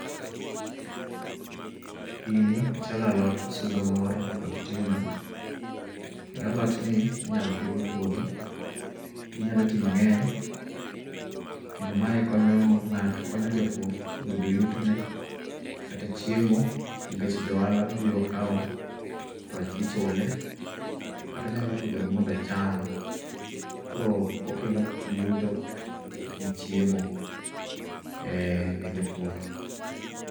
Gini ochalo alot osuga moro mapod tindo kendo alot ni inyal pidh e puodho ginyalo tii mangeny kendo mae konyo ngato, konyo japur yudo yuto ne kata chiemo nikech jo ohala biro kao to ichule kata onyalo pidhogi mondo ocham. Koro okelo yuto gi chiemo ne jopur